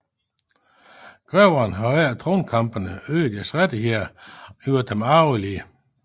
Greverne havde under tronkampene øget deres rettigheder og gjort dem arvelige